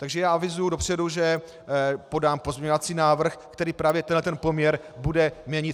Takže já avizuji dopředu, že podám pozměňovací návrh, který právě tenhle poměr bude měnit.